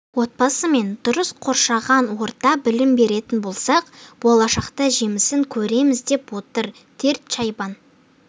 отбасы мен дұрыс қоршаған орта білім беретін болсақ болашақта жемісін көреміз деп отыр тед чайбан